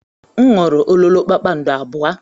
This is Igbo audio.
M ṅụrụ ololo kpakpando abụọ.